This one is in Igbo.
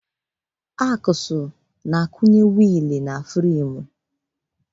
Aksụl na-akwụnye wiili na fremu.